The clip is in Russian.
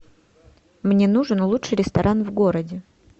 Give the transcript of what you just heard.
мне нужен лучший ресторан в городе